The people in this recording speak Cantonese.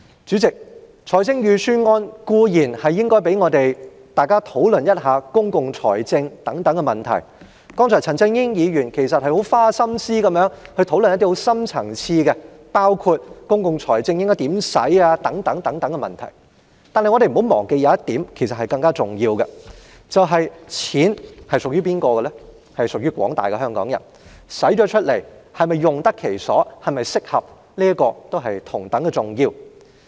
主席，預算案固然有機會讓議員討論公共財政的問題，而陳振英議員剛才也很花心思地討論了一些深層次的問題，包括應該如何運用公共財政等，但我們不要忘記，更重要的一點是錢是屬於廣大香港人的，開支是否用得其所及合適同樣重要。